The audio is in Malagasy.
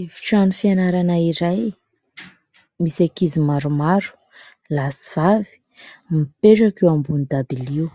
Efitrano fianarana iray misy ankizy maromaro lahy sy vavy mipetraka eo ambony dabilio,